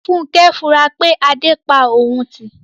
Funkẹ́ ń fura pé Adé pa òun tì